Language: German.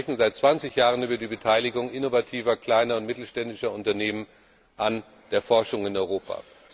Wir sprechen seit 20 Jahren über die Beteiligung innovativer kleiner und mittelständischer Unternehmen an der Forschung in Europa.